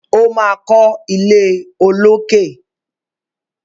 O ma kọ ilé olókè.